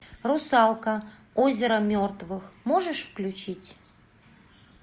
русалка озеро мертвых можешь включить